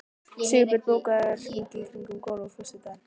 Sigbjörn, bókaðu hring í golf á föstudaginn.